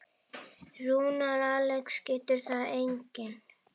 Rúnar Alex getur það einnig.